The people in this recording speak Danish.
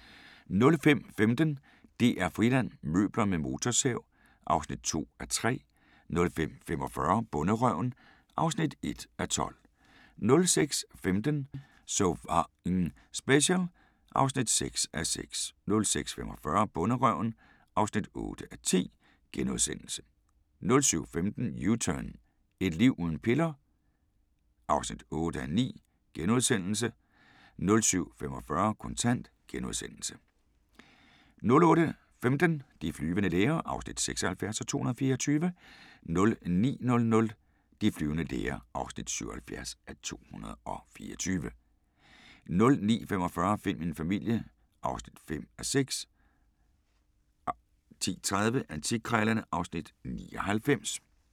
05:15: DR-Friland: Møbler med motorsav (2:3) 05:45: Bonderøven (1:12) 06:15: So F***ing Special (6:6) 06:45: Bonderøven (8:10)* 07:15: U-turn 2 – Et liv uden piller? (8:9)* 07:45: Kontant * 08:15: De flyvende læger (76:224) 09:00: De flyvende læger (77:224) 09:45: Find min familie (5:6) 10:30: Antikkrejlerne (Afs. 99)